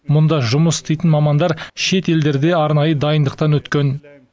мұнда жұмыс істейтін мамандар шетелдерде арнайы дайындықтан өткен